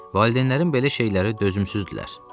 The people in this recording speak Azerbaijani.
Valideynlərim belə şeylərə dözümsüzdürlər.